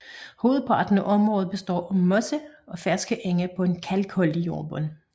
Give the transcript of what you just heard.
Hovedparten af området består af moser og ferske enge på en kalkholdig jordbund